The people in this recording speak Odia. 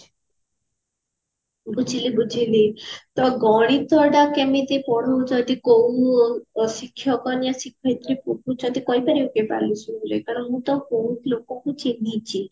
ବୁଝିଲି ବୁଝିଲି ତ ଗଣିତ ଟା କେମିତି ପଢୋଉଛନ୍ତି କୋଉ ଅ ଶିକ୍ଷକ ନା ଶିକ୍ଷୟତ୍ରୀ କହିପାରିବ କି ମୁଁ ତ ବହୁତ ଲୋକଙ୍କୁ ଚିହ୍ନିଛି